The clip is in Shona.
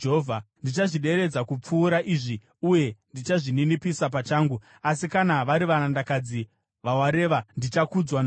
Ndichazvideredza kupfuura izvi, uye ndichazvininipisa pachangu. Asi kana vari varandakadzi vawareva, ndichakudzwa navo.”